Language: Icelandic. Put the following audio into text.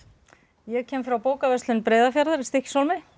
ég kem frá bókaverslun Breiðafjarðar í Stykkishólmi